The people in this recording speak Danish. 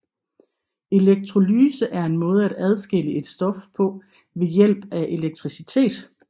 Elektrolyse er en måde at adskille et stof på ved hjælp af elektricitet